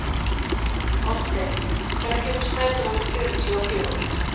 Oddsteinn, hvenær kemur strætó númer fjörutíu og fjögur?